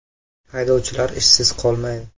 Haydovchilar ishsiz qolmaydi.